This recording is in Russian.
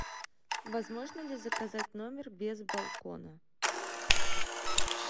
возможно ли заказать номер без балкона